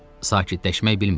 Sakitləşmək bilmirdi.